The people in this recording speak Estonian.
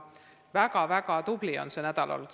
Väga-väga tublid on sel nädalal kõik olnud.